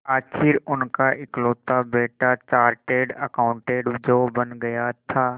आखिर उनका इकलौता बेटा चार्टेड अकाउंटेंट जो बन गया था